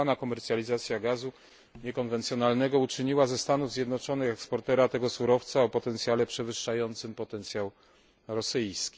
Udana komercjalizacja gazu niekonwencjonalnego uczyniła ze Stanów Zjednoczonych eksportera tego surowca o potencjale przewyższającym potencjał rosyjski.